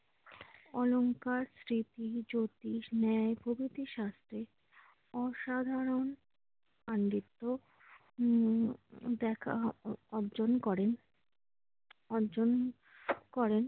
অলংকার, জ্যোতিষ, ন্যায় প্রভৃতি শাস্ত্রে অসাধারণ পাণ্ডিত্য উম দেখা অর্জন করেন~ অর্জন করেন।